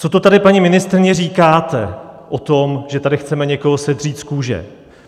Co to tady, paní ministryně, říkáte o tom, že tady chceme někoho sedřít z kůže?